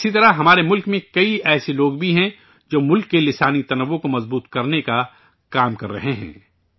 اسی طرح، ہمارے ملک میں کئی ایسے لوگ بھی ہیں، جو ملک کی لسانی تنوع کو مضبوط کرنے کا کام کررہے ہیں